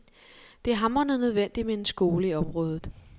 Det er hamrende nødvendigt med en skole i området.